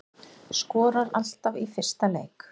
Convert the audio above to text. Skorar alltaf í fyrsta leik